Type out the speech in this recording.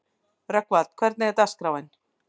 Rögnvald, hvernig er dagskráin?